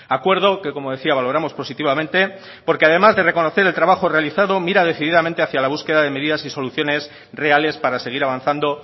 acuerdo que como decía valoramos positivamente porque además de reconocer el trabajo realizado mira decididamente hacia la búsqueda de medidas y soluciones reales para seguir avanzando